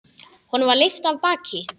Honum var lyft af baki.